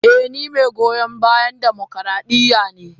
Eh ni mai goyon bayan dimokradiyya ne.